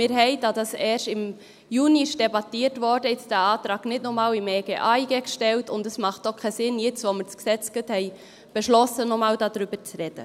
Wir hatten, da das erst im Juni debattiert wurde, diesen Antrag nicht noch einmal beim EG AIG und AsylG gestellt, und es macht auch keinen Sinn, jetzt, nachdem wir das Gesetz gerade beschlossen haben, noch einmal darüber zu sprechen.